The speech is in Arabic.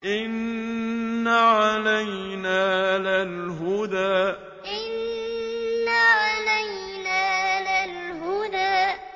إِنَّ عَلَيْنَا لَلْهُدَىٰ إِنَّ عَلَيْنَا لَلْهُدَىٰ